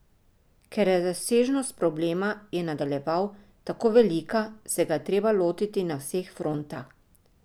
Ker je razsežnost problema, je nadaljeval, tako velika, se ga je treba lotiti na vseh frontah.